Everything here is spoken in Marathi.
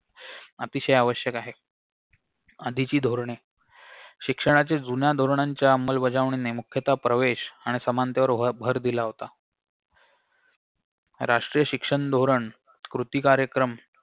अतिशय आवश्यक आहे आधीची धोरणे शिक्षणाची जुन्या धोरणाच्या अंमलबजावणी मुख्यतः प्रवेश आणि समांतर यावर भर दिला होता राष्ट्रीय शिक्षण धोरण कृती कार्यक्रम